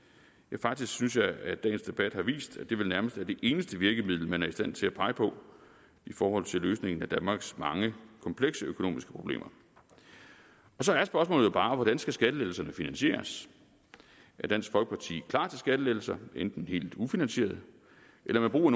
faktisk synes jeg at dagens debat har vist at det vel nærmest er det eneste virkemiddel man er i stand til at pege på i forhold til løsningen af danmarks mange komplekse økonomiske problemer så er spørgsmålet jo bare hvordan skattelettelserne skal finansieres er dansk folkeparti klar til skattelettelser enten helt ufinansierede eller ved brug